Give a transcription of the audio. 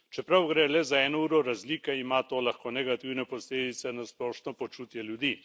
Čeprav gre le za eno uro razlike, ima to lahko negativne posledice na splošno počutje ljudi.